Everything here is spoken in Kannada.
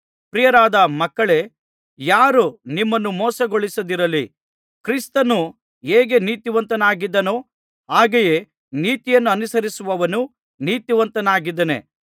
ಪ್ರಿಯರಾದ ಮಕ್ಕಳೇ ಯಾರೂ ನಿಮ್ಮನ್ನು ಮೋಸಗೊಳಿಸದಿರಲಿ ಕ್ರಿಸ್ತನು ಹೇಗೆ ನೀತಿವಂತನಾಗಿದ್ದನೋ ಹಾಗೆಯೇ ನೀತಿಯನ್ನನುಸರಿಸುವವನು ನೀತಿವಂತನಾಗಿದ್ದಾನೆ